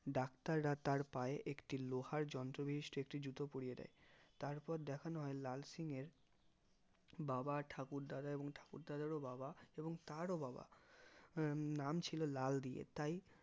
ডাক্তাররা তার পায়ে একটা লোহার যন্ত্র বিশিষ্ট একটি জুতো পরিয়ে দেয় তারপর দেখানো হয় লাল সিংএর বাবা ঠাকুরদা এবং ঠাকুর দাদেরও বাবা এবং তার ও বাবা নাম ছিল লাল দিয়ে তাই